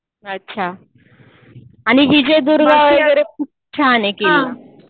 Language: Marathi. अच्छा. आणि विजयदुर्ग वगैरे खूप छान आहे किल्ला.